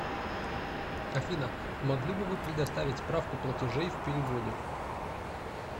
афина могли бы вы предоставить справку платежей в переводе